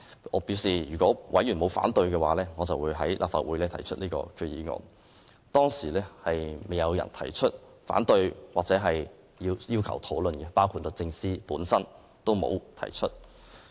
我表示，如果委員不反對，我便會在立法會上提出擬議決議案，當時沒有委員表示反對或要求討論，包括律政司也沒有提出。